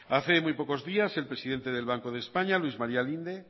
hace muy pocos días el presidente del banco de españa luis maría linde